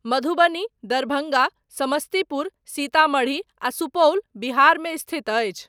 मधुबनी, दरभङ्गा, समस्तीपुर, सीतामढ़ी आ सुपौल बिहारमे स्थित अछि।